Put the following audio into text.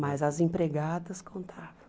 Mas as empregadas contavam.